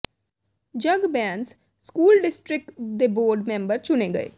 ਜਗ Bains school district ਦੇ board member ਚੁਣੇ ਗਏ